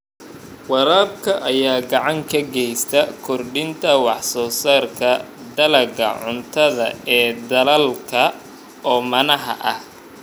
Waraabka ayaa gacan ka geysta kordhinta wax soo saarka dalagga cuntada ee dalalka oomanaha ah.